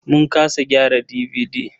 Mun kasa gyara DVD.